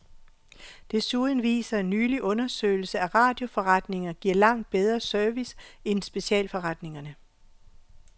Desuden viser en nylig undersøgelse, at radioforretninger giver langt bedre service en specialforretningerne.